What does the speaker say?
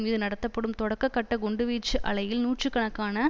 மீது நடத்தப்படும் தொடக்க கட்ட குண்டு வீச்சு அலையில் நூற்று கணக்கான